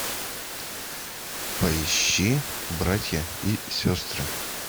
поищи братья и сестры